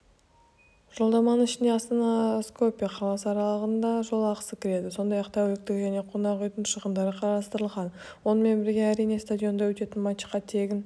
жолдаманың ішіне астана-скопье қаласы аралығында жол ақысы кіреді сондай-ақ тәуліктік және қонақ-үйдің шығындары қарастырылған онымен бірге әрине стадионда өтетін матчқа тегін